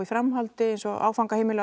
framhaldi eins og áfangaheimili